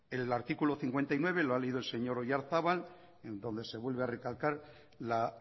el artículo cincuenta y nueve lo ha leído el señor oyarzabal en donde se vuelve a recalcar la